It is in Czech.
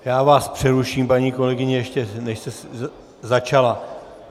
Já vás přeruším, paní kolegyně, ještě než jste začala.